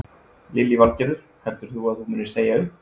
Lillý Valgerður: Heldur þú að þú munir segja upp?